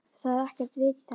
ÞAÐ ER EKKERT VIT Í ÞESSU.